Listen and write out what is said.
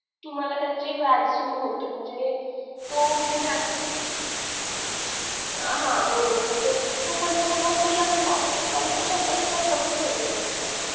तुम्हाला त्याचे व्याज सुरु होत म्हणजे तो विद्यार्थी तो परेंत तो नोकरी ला पण लागू शकतो आणि तो स्वतः च स्वतः पण फेडू शकतो